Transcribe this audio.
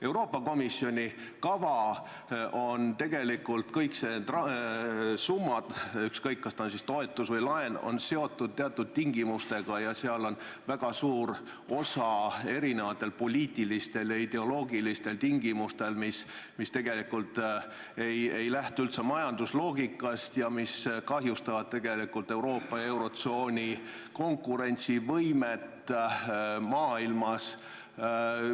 Euroopa Komisjoni kava on tegelikult – kõik need summad, ükskõik, kas ta on toetus või laen – seotud teatud tingimustega ning selles on väga suur osa mitmesugustel poliitilistel ja ideoloogilistel tingimustel, mis tegelikult ei lähtu üldse majandusloogikast ja mis kahjustavad Euroopa ja eurotsooni konkurentsivõimet maailmas.